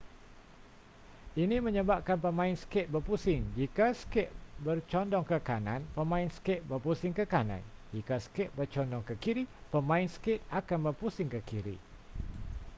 ini menyebabkan pemain skate berpusing jika skate bercondong ke kanan pemain skate berpusing ke kanan jika skate bercondong ke kiri pemain skate akan berpusing ke kiri